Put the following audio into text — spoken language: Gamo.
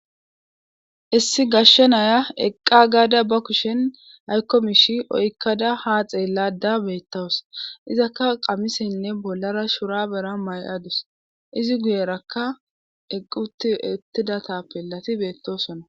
Issi gashshe naya eqqagaada ba kushen haykko misha oyikkada ha xeelada beettawus. Izakka qamisenne bollara shurabera maya eqadus. Izi guyerakka eqqi uttida tappelati beettosona.